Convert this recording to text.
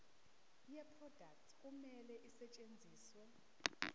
yeproduct kumele isetshenziswe